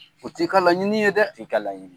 O t'i ka laɲini ye dɛ, t'i ka lanɲini ye.